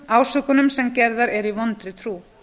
ásökunum sem gerðar eru í vondri trú